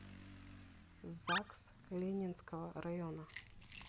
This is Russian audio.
загс ленинского района